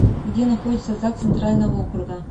где находится загс центрального округа